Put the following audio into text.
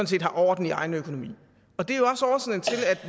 set har orden i egen økonomi